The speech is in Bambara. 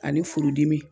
Ani furudimi